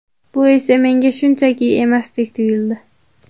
Bu esa menga shunchaki emasdek tuyuldi”.